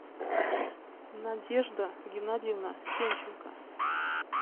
надежда геннадьевна сенченко